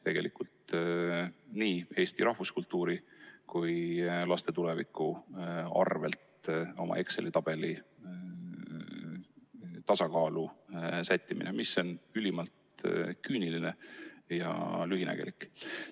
Tegelikult käib nii eesti rahvuskultuuri kui ka laste tuleviku arvel oma Exceli tabeli tasakaalu sättimine, mis on ülimalt küüniline ja lühinägelik.